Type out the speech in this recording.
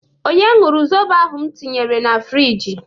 Onye ñụrụ zobo ahụ m tinyere na frịjị?